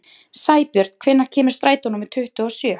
Sæbjörn, hvenær kemur strætó númer tuttugu og sjö?